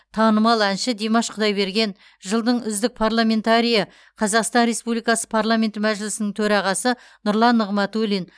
танымал әнші димаш құдайберген жылдың үздік парламентарийі қазақстан республикасы парламенті мәжілісінің төрағасы нұрлан нығматулин